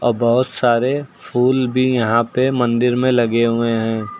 बहुत सारे फूल भी यहां पे मंदिर में लगे हुए हैं।